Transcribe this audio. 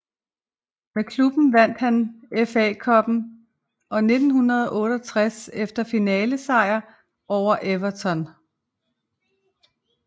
Med klubben vandt han FA Cuppen i 1968 efter finalesejr over Everton